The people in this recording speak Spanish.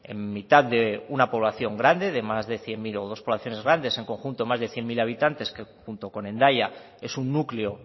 en mitad de una población grande de más de cien mil o dos poblaciones grandes en conjunto más de cien mil habitantes que junto con hendaya es un núcleo